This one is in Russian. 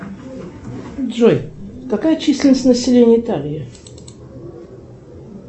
джой какая численность населения италии